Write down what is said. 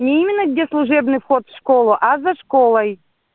не именно где служебный вход в школу а за школой